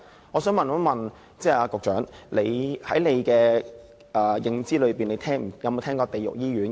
我想問局長，在她的認知中，有否聽過"地獄醫院"？